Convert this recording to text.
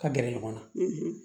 Ka gɛrɛ ɲɔgɔn na